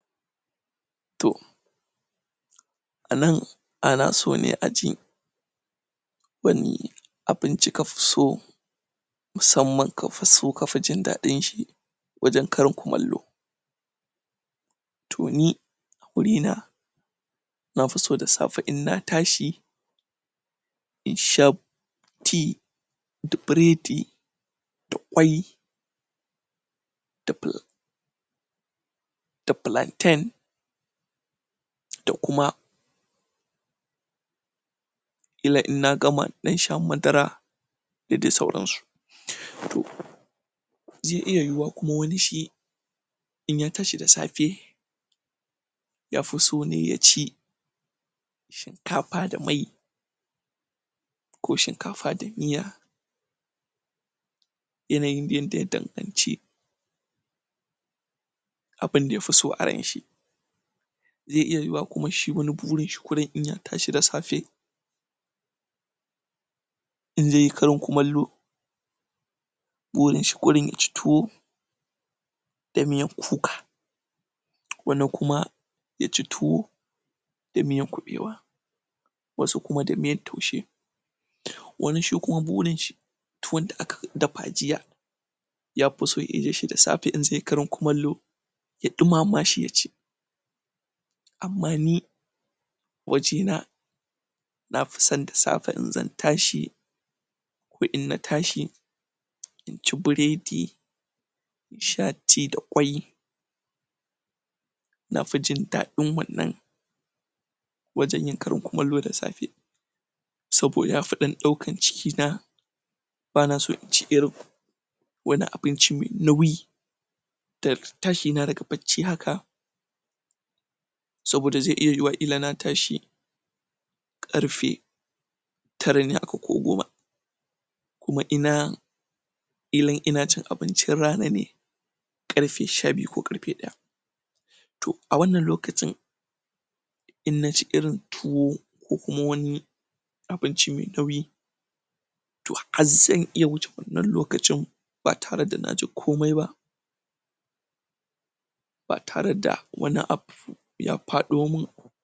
toh anan ana so ne aji wani abinci kafi so musamman kafi so kafi jin dadin shi wajen karin kumallo to ni a guri na nafi so da safe inna tashi insha tea da bredi da Ƙwai da pla da plantain da kuma Ƙila inna gama in dan sha madara dadi sauransu to zai iya yiyuwa kuma wani shi in ya tashi da safe yafi so ne ya ci shinkafa da mai ko shinkafa da miya yanayin yadda idan anci abin daya fiso a ranshi zai iya iyuwa wani shi kuma burin shi in ya tashi da safe in zaiyi karin kumallo burin shi kawai yaci tuwo da miyan kuka wani kuma yaci tuwo da miyan kubewa wasu kuma da miyan taushe wani shi kuma burin shi towon da aka dafa jiya yafi san irin shi da safe in zaiyi karin kumallo ya dumama shi yaci amma ni wajena nafison da safe in zan tashi ko inna tashi inci bredi insha tea da Ƙwai nafi jin dadin wannan wajen yin karin kumallo da safe saboda yafi ɗan ɗaukan cikina ban so inci irin wani abinci mai nauyi daga tashi na aga bacci haka saboda zai iya yiyuwa kila na tashi karfe tara ne haka ko goma kuma ina kila in ina cin abincin rana ne karfe sha biyu ko karfe ɗaya to a wanna lokacin in naci irin towu kukuma wani abinci mai nauyi to har zan iya wuce wannan lokacin ba tareda naji komai ba ba tare da wani abu ya faɗo min